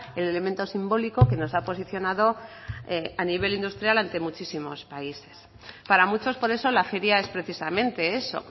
el elemento simbólico que nos ha posicionado a nivel industrial ante muchísimos países para muchos por eso la feria es precisamente eso